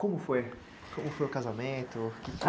Como foi, como foi o casamento?